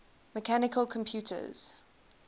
mechanical computers